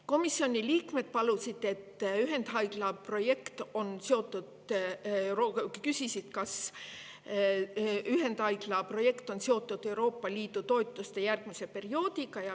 Komisjoni liikmed küsisid, kas ühendhaigla projekt on seotud Euroopa Liidu toetuste järgmise perioodiga.